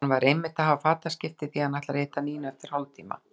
Hann var einmitt að hafa fataskipti því að hann ætlar að hitta Nínu eftir hálftíma.